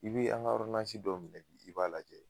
I bi an ga dɔw minɛ bi, i b'a lajɛ